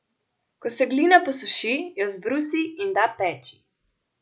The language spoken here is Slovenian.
Ko se glina posuši, jo zbrusi in da peči.